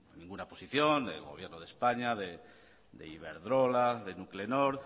ninguna posición del gobierno de españa de iberdrola de nuclenor